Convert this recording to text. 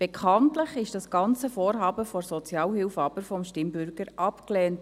Bekanntlich wurde aber das ganze Vorhaben der Sozialhilfe vom Stimmbürger abgelehnt.